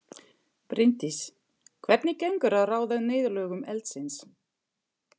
Bryndís: Hvernig gengur að ráða niðurlögum eldsins?